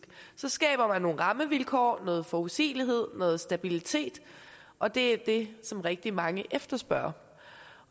så skaber man nogle rammevilkår noget forudsigelighed og noget stabilitet og det er det som rigtig mange efterspørger